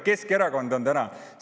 Keskerakond on täiesti uuenenud.